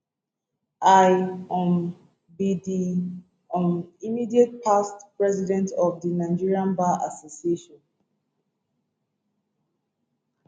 i um be di um immediate past president of di nigerian bar association